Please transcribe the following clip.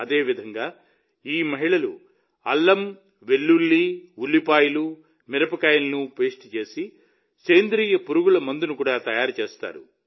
అదేవిధంగా ఈ మహిళలు అల్లం వెల్లుల్లి ఉల్లిపాయలు మిరపకాయలను పేస్ట్ చేసి సేంద్రియ పురుగుమందును కూడా తయారు చేస్తారు